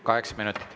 Kaheksa minutit.